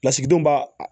Lasigidenw b'a